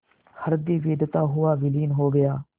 हृदय वेधता हुआ विलीन हो गया